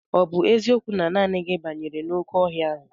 Ọ bụ eziokwu na naanị gị banyere n'oké ọhịa ahụ?